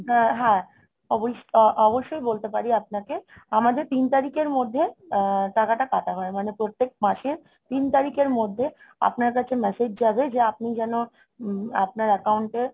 হ্যাঁ হ্যাঁ. অবশ্য~ অবশ্যই বলতে পারি আপনাকে আমাদের তিন তারিখের মধ্যে আহ টাকাটা কাটা হয়, মানে প্রত্যেক মাসের তিন তারিখের মধ্যে আপনার কাছে message যাবে যে আপনি যেন উম আপনার account এ